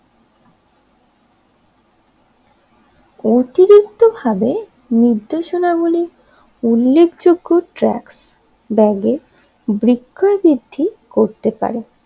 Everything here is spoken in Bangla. অতিরিক্ত ভাবে নির্দেশনা গুলি উল্লেখযোগ্য ট্রিক্স ব্যাগের বিক্রয় বৃদ্ধি করতে পারে